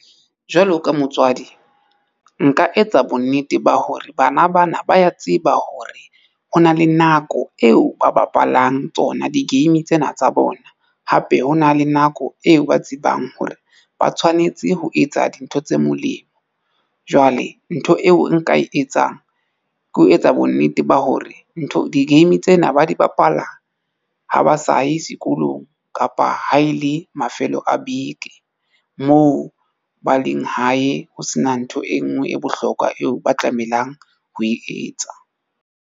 Jwalo ka motswadi nka etsa bonnete ba hore bana ba na ba ya tseba hore ho na le nako eo ba bapalang tsona di-game tsena tsa bona. Hape ho na le nako eo ba tsebang hore ba tshwanetse ho etsa dintho tse molemo. Jwale ntho eo nka e etsang ke ho etsa bonnete ba hore ntho di-game tsena ba di bapala ha ba sa ye sekolong kapa ha e le mafelo a beke moo ba leng hae ho sena ntho e nngwe e bohlokwa eo ba tlamehang ho e etsa.